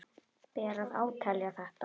Ber að átelja þetta.